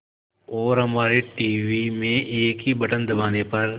और हमारे टीवी में एक ही बटन दबाने पर